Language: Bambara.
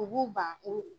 U b'u ban ko